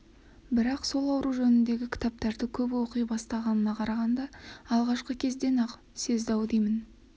бірақ сол ауру жөніндегі кітаптарды көп оқи бастағанына қарағанда алғашқы кезде-ақ сезді-ау деймін